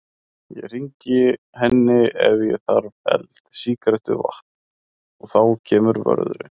Ég hringi henni ef ég þarf eld, sígarettu, vatn. og þá kemur vörðurinn.